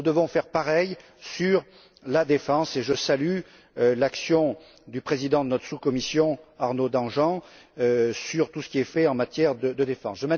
Nous devons faire pareil pour la défense et je salue l'action du président de notre sous commission, Arnaud Danjean, sur tout ce qui est fait en matière de défense.